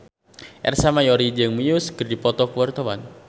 Ersa Mayori jeung Muse keur dipoto ku wartawan